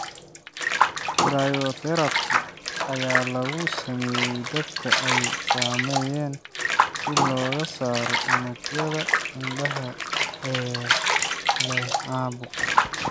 Cryotherapy ayaa lagu sameeyay dadka ay saameeyeen si looga saaro unugyada indhaha ee leh caabuq.